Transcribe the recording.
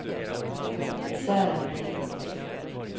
Sören Melin